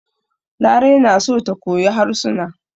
Larai na so ta koyi harsuna.